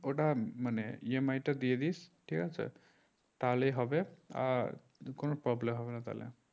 ওটা মানে EMI তা দিয়ে দিস ঠিক আছে তাহলেই হবে আর কোনো problem হবে না তাহলে